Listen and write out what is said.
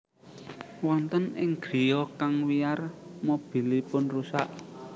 Wonten ing griya kang wiyar mobilipun rusak